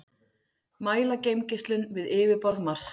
mæla geimgeislun við yfirborð mars